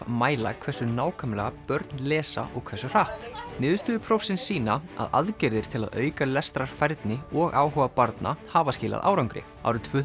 mæla hversu nákvæmlega börn lesa og hversu hratt niðurstöður prófsins sýna að aðgerðir til að auka lestrarfærni og áhuga barna hafa skilað árangri árið tvö